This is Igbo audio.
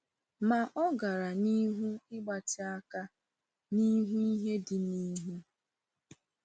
Ma o gara n’ihu “ịgbatị aka n’ihu ihe dị n’ihu.”